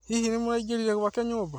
Hihi nĩmũraingĩrire gwake nyũmba?